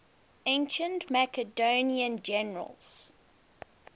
ancient macedonian generals